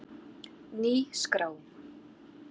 Ný skrá